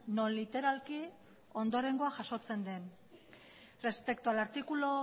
non literalki ondorengoa jasotzen den respecto al artículo